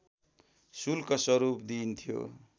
शुल्क स्वरूप दिइन्थ्यो